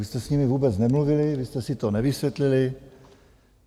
Vy jste s nimi vůbec nemluvili, vy jste si to nevysvětlili.